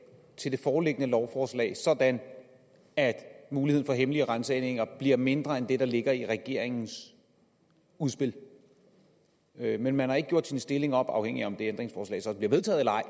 til det foreliggende lovforslag sådan at muligheden for hemmelige ransagninger bliver mindre end den der ligger i regeringens udspil men men man har ikke gjort sin stilling op afhængig af om det ændringsforslag så bliver vedtaget eller ej